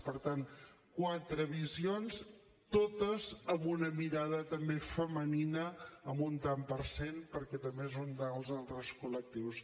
per tant quatre visions totes amb una mirada també femenina amb un tant per cent perquè també és un dels altres col·lectius